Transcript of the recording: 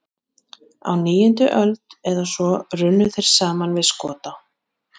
Á níundu öld eða svo runnu þeir saman við Skota.